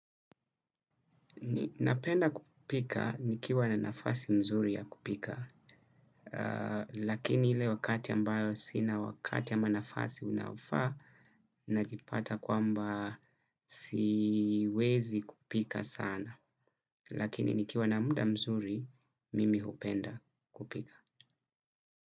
Napenda kupika nikiwa na nafasi mzuri ya kupika, lakini ile wakati ambayo sina wakati ama nafasi inayofaa, najipata kwamba siwezi kupika sana. Lakini nikiwa na muda mzuri, mimi hupenda kupika.